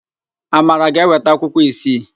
Amara ga-eweta akwụkwọ isii.